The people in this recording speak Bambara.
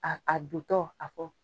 A a dontɔ a kɔ